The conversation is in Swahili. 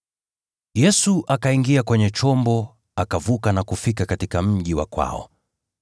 Yesu akaingia kwenye chombo, akavuka na kufika katika mji wa kwao.